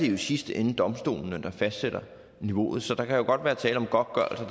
i sidste ende domstolene der fastsætter niveauet så der kan jo godt være tale om godtgørelser